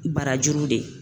Barajuru de